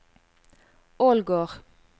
Ålgård